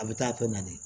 A bɛ taa tɔ na de